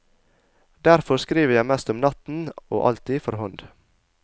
Derfor skriver jeg mest om natten, og alltid for hånd.